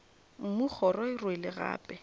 mmu kgoro e rwele gape